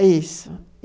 É isso.